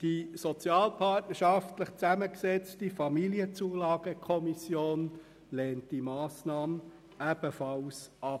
Die sozialpartnerschaftlich zusammengesetzte Familienzulagenkommission lehnt die Massnahme ebenfalls ab.